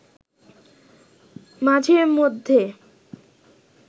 মাঝে মধ্যে